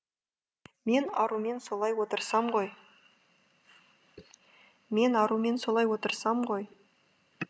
мен арумен солай отырсам ғой мен арумен солай отырсам ғой